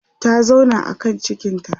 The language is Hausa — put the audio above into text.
ta zauna a kan cikinta